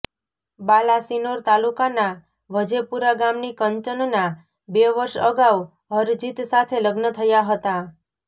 બાલાસિનોર તાલુકાના વજેપુરા ગામની કંચનના બે વર્ષ અગાઉ હરજીત સાથે લગ્ન થયા હતાં